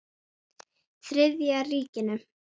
Þriðja ríkinu.